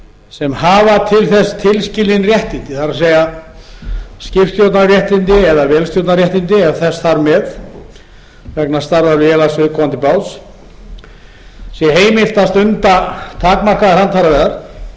sem hafa til þess tilskilin réttindi það er skipstjórnarréttindi eða vélstjórnarréttindi ef þess þarf með vegna starfa viðkomandi báts sé heimilt að stunda takmarkaðar handfæraveiðar þó